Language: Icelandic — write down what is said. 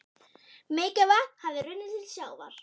Mikið vatn hafði runnið til sjávar.